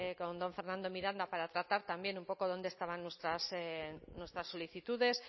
con don fernando miranda para tratar también un poco dónde estaban nuestras solicitudes